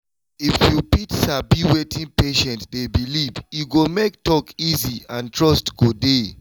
if you fit sabi wetin patient dey believe e go make talk easy and trust go dey